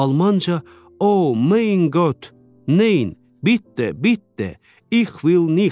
Almanca: “O, mein Gott, nein, bitte, bitte, ich will nicht!”